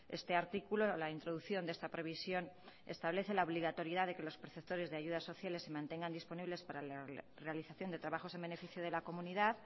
este artículo la introducción de esta previsión establece la obligatoriedad de que los perceptores de ayudas sociales se mantengan disponibles para la realización de trabajos en beneficio de la comunidad